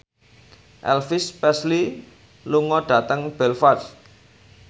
Elvis Presley lunga dhateng Belfast